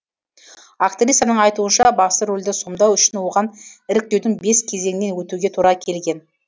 актрисаның айтуынша басты рөлді сомдау үшін оған іріктеудің бес кезеңінен өтуге тура келген